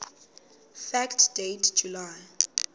fact date july